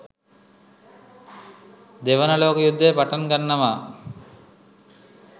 දෙවන ලෝක යුද්ධය පටන් ගන්නවා.